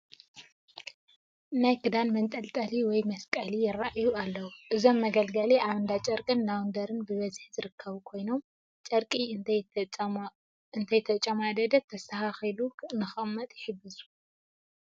ናይ ክዳን መንጠልጠሊ ወይ መስቀሊ ይርአዩ ኣለዉ፡፡ እዞም መገልገሊ ኣብ እንዳጨርቅን ላውንደርን ብብዝሒ ዝርከቦ ኮይኖም ጨርቂ እንተይተጨማደደ ተስተኻኺሉ ንኽቕመጥ ይሕግዙ፡፡